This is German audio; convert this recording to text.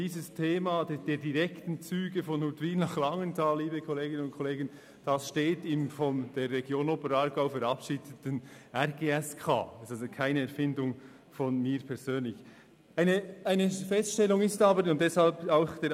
Das Thema einer direkten Zugverbindung zwischen Huttwil und Langenthal steht vielmehr im von der Region Oberaargau verabschiedeten Regionalen Gesamtverkehrs- und Siedlungskonzept (RGSK).